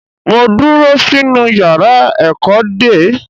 Mo dúró sínú yàrá ẹ̀kọ́ dè ẹ́.